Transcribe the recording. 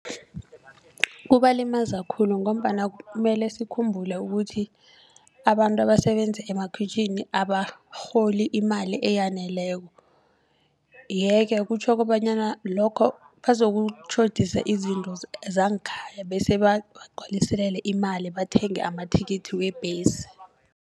Kubalimaza khulu ngombana mele sikhumbule ukuthi abantu abasebenza emakhwitjhini abarholi imali eyaneleko. Yeke kutjho kobanyana lokho bazokutjhodisa izinto zangekhaya bese bagcwaliselele imali bathenge amathikithi webhesi.